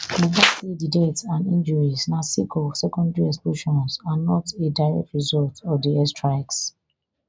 buba say di deaths and injuries na sake of secondary explosions and not a direct result of di airstrikes